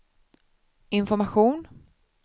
information